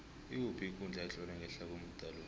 ikuphi ikundla etlolwe ngehla komuda lo